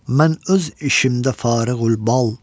Mən öz işimdə fariğulbal.